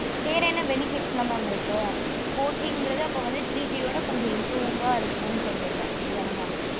வேற என்ன benefits ல mam இருக்கு four G குர்து அப்போ வந்து three G ஆ விட கொஞ்ச improve ஆ இருக்கும் நு சொல்லுரிங்க அப்படித்தன mam